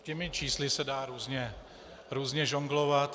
Těmi čísly se dá různě žonglovat.